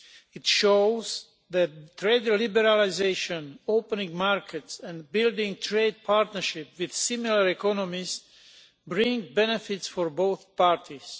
It shows that trade liberalisation, opening markets and building trade partnerships with similar economies bring benefits for both parties.